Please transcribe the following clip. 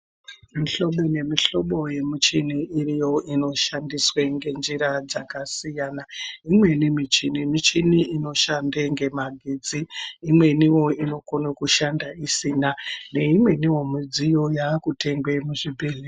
Mihlobo nemuhlobo yemichini iriyo inoshandiswe ngenjira dzakasiyana. Imweni michini michini inoshande ngemagetsi. Imweniwo inokone kushanda isina, neimweniwo midziyo yaakutengwe muzvibhedhleya.